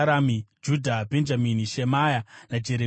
Judha, Bhenjamini, Shemaya, naJeremia,